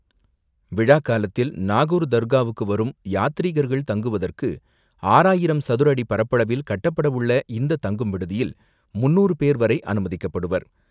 விழா காலத்தில் நாகூர் தர்காவுக்கு வரும் யாத்திரீகர்கள் தங்குவதற்கு ஆறாயிரம் சதுர அடி பரப்பளவில் கட்டப் படவுள்ள இந்த தங்கும் விடுதியில் முன்னூறு பேர் வரை அனுமதிக்கப்படுவர்.